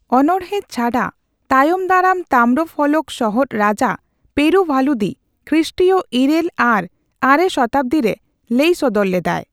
ᱚᱱᱚᱲᱦᱮ ᱪᱷᱟᱰᱟ, ᱛᱟᱭᱚᱢᱫᱟᱨᱟᱢ ᱛᱟᱢᱨᱯᱷᱚᱞᱚᱠ ᱥᱚᱦᱚᱫ ᱨᱟᱡᱟ ᱯᱮᱨᱩᱵᱷᱟᱞᱩᱫᱤ(ᱠᱷᱨᱤᱥᱴᱤᱭ ᱤᱨᱟᱹᱞ ᱟᱨ ᱙ᱟᱨᱮ ᱥᱚᱛᱟᱵᱫᱤᱨᱮ) ᱞᱟᱹᱭᱥᱚᱫᱚᱨ ᱞᱮᱫᱟᱭ᱾